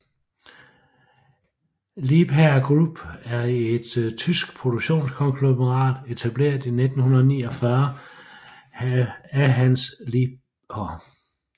Liebherr Group er et tysk produktionskonglomerat etableret i 1949 af Hans Liebherr